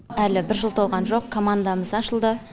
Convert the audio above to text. әлі бір жыл толған жоқ командамыз ашылды